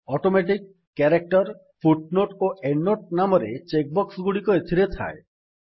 automatic character footnote ଓ endnote ନାମରେ check box ଗୁଡିକ ଏଥିରେ ଥାଏ